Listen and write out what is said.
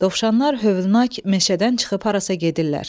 Dovşanlar hövlnak meşədən çıxıb harasa gedirlər.